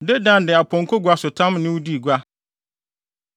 “ ‘Dedan de apɔnkɔnguasotam ne wo dii gua.